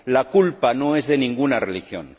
La culpa no es de ninguna religión